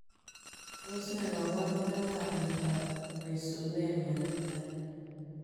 Tos nee kabarunoik ap miondoop Trosinemia netai?